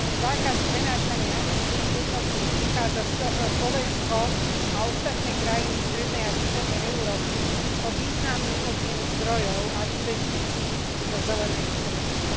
Zákazom prenášania emisných jednotiek prichádza Slovensko a ostatné krajiny strednej a východnej Európy o významný objem zdrojov a investícií do zelenej ekonomiky.